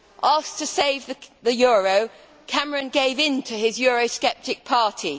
Asked to save the euro, Cameron gave in to his eurosceptic party.